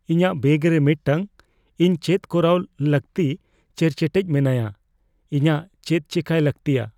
ᱤᱧᱟᱹᱜ ᱵᱮᱜ ᱨᱮ ᱢᱤᱫᱴᱟᱝ ᱾ ᱤᱧ ᱪᱮᱫ ᱠᱚᱨᱟᱣ ᱞᱟᱹᱠᱛᱤᱪᱮᱨᱪᱮᱴᱮᱡ ᱢᱮᱱᱟᱭᱟ ᱾ ᱤᱧᱟᱜ ᱪᱮᱫ ᱪᱮᱠᱟᱭ ᱞᱟᱹᱜᱛᱤᱭᱟ ?